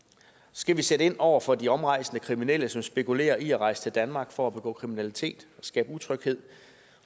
skal vi sætte ind over for de omrejsende kriminelle som spekulerer i at rejse til danmark for at begå kriminalitet og skabe utryghed